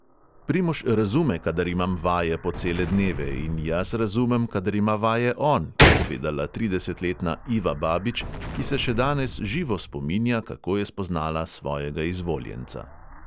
Primož razume, kadar imam vaje po cele dneve, in jaz razumem, kadar ima vaje on, je povedala tridesetletna iva babič, ki se še danes živo spominja, kako je spoznala svojega izvoljenca.